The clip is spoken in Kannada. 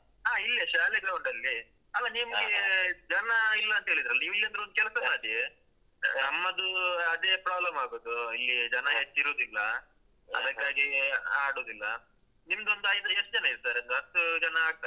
ಅ ಇಲ್ಲೆ ಶಾಲೆ ground ಅಲ್ಲಿಯೆ ನಿಮ್ಗೇ ಜನ ಇಲ್ಲಂತ ಹೇಳಿದ್ರಲ್ಲ ನೀವು ಏನಾದ್ರು ಒಂದ್ ಕೆಲ್ಸ ಮಾಡಿ ನಮ್ಮದೂ ಅದೆ problem ಆಗುದು ಇಲ್ಲಿಯ ಜನ ಹೆಚ್ಚಿರುದಿಲ್ಲ ಅದಕ್ಕಾಗಿ ಆಡುದಿಲ್ಲ ನಿಮ್ದೊಂದು ಐದ್ ಎಷ್ಟು ಜನ ಇದ್ದಾರೆ ಒಂದು ಹತ್ತು ಜನ ಆಗ್ತಾರಲ್ಲ.